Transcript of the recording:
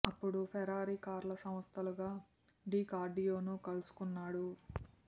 అప్పడు ఫెరారి కార్ల సంస్థ లుకా డి కార్డియో ను కలుసుకున్నాడు